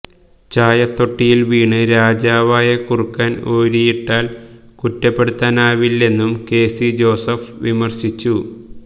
ചായത്തൊട്ടിയില് വീണ് രാജാവായ കുറുക്കന് ഓരിയിട്ടാല് കുറ്റപ്പെടുത്താനാവില്ലെന്നും കെസി ജോസഫ് വിമര്ശിച്ചിരുന്നു